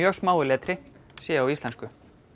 smáu letri séu á íslensku